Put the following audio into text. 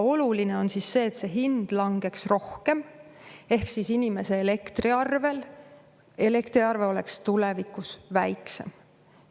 Oluline on see, et see hind langeks rohkem ehk siis inimese elektriarve oleks tulevikus väiksem.